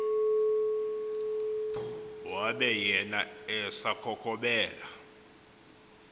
wabe yena esakhokhobela